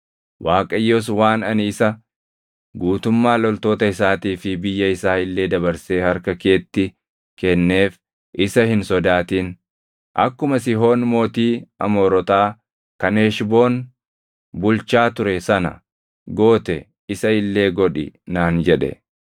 Waaqayyos, “Waan ani isa, guutummaa loltoota isaatii fi biyya isaa illee dabarsee harka keetti kenneef isa hin sodaatin. Akkuma Sihoon mootii Amoorotaa kan Heshboon bulchaa ture sana goote isa illee godhi” naan jedhe.